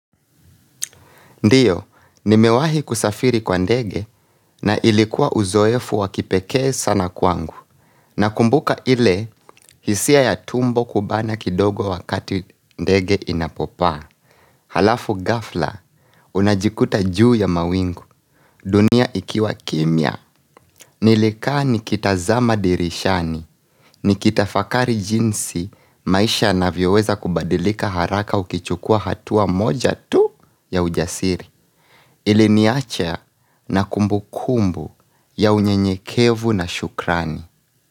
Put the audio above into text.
Ndio, nimewahi kusafiri kwa ndege na ilikuwa uzoefu w kipekee sana kwangu na kumbuka ile, hisia ya tumbo kubana kidogo wakati ndege inapopaa Halafu ghafla, unajikuta juu ya mawingu dunia ikiwa kimya, nilikaa nikitazama dirishani Nikitafakari jinsi, maisha yanavyoweza kubadilika haraka ukichukua hatua moja tu ya ujasiri Iliniacha na kumbukumbu ya unyenyekevu na shukrani.